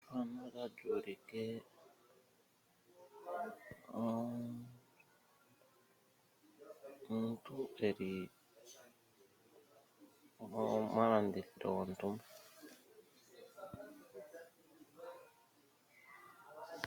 Moositola ohamu kala muna oolaka dhaningwa muusikopa moka hamu pakelwa iinima mboka tayi landithwa moositola.